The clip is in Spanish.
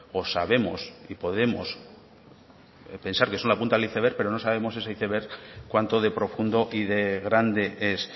o sabemos y podemos pensar que es una punta del iceberg pero no sabemos si ese iceberg cuanto de profundo y de grande es